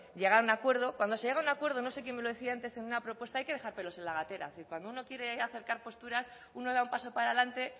llegar a un acuerdo cuando se llega a un acuerdo no sé quién me lo decía antes en una propuesta hay que dejar pelos en la gatera es decir cuando uno quiere acercar posturas uno da un paso para adelante